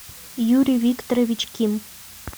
юрий викторович ким